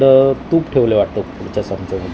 इथ तूप ठेवलंय वाटतं पुढच्या संचामधी .